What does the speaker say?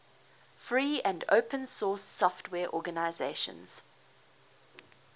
free and open source software organizations